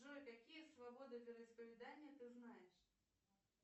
джой какие свободы вероисповедания ты знаешь